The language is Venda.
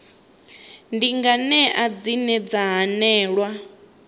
ndi nganea dzine dza hanelelwa